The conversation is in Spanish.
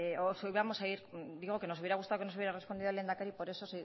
digo que nos hubiera gustado que nos hubiera respondido el lehendakari por esode